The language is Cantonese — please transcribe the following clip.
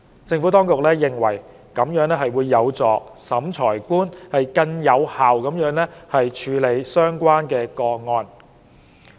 政府當局認為，這有助審裁官更有效地處理相關個案。